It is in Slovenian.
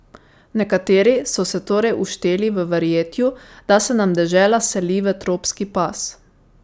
Nekateri so se torej ušteli v verjetju, da se nam dežela seli v tropski pas.